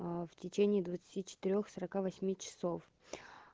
в течение двадцати четырёх сорока восьми часов